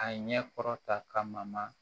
A ɲɛ kɔrɔ ta ka ma